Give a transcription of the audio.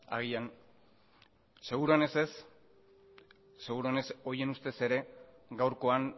agian seguruenez ez seguruenez horien ustez ere gaurkoan